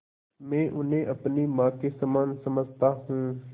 मैं उन्हें अपनी माँ के समान समझता हूँ